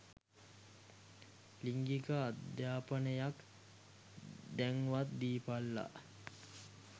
ලිංගික අධාපනයක් දැන්වත් දීපල්ලා.